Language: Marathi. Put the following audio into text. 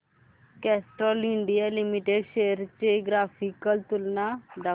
कॅस्ट्रॉल इंडिया लिमिटेड शेअर्स ची ग्राफिकल तुलना दाखव